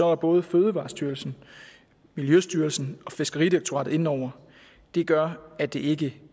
er både fødevarestyrelsen miljøstyrelsen og fiskeridirektoratet inde over det gør at det ikke